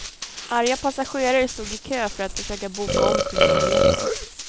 Arga passagerare stod i kö för att försöka boka om sina biljetter.